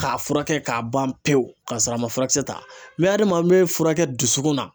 K'a furakɛ k'a ban pewu ka sɔrɔ a ma furakɛ ta hadaman an bɛ furakɛ dusukun na.